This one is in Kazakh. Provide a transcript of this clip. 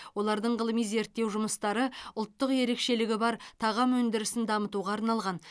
олардың ғылыми зерттеу жұмыстары ұлттық ерекшелігі бар тағам өндірісін дамытуға арналған